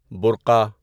برُقعہ